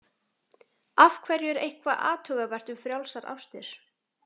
Af hverju er eitthvað athugavert við frjálsar ástir?